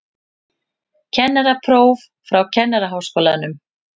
Kennarapróf frá Kennaraháskólanum